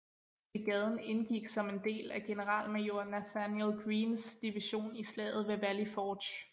Brigaden indgik som en del af generalmajor Nathanael Greenes division i Slaget ved Valley Forge